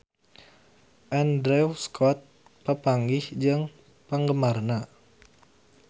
Andrew Scott papanggih jeung penggemarna